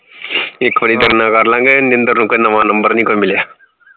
ਇਕ ਵਾਰੀ ਕਰ ਲਾਗੇ ਨਿੰਦਰ ਨੂੰ ਕੋਈ ਨਵਾਂ ਨੰਬਰ ਨਹੀਂ ਕੋਈ ਮਿਲਿਆ